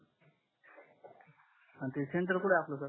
आणि ते सेंटर कुठ आहे सर आपल